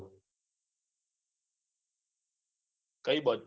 કઈ બાજુ